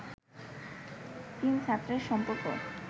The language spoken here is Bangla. তিন ছাত্রের সম্পর্ক